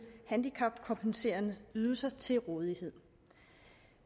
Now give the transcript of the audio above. handicapkompenserende ydelser til rådighed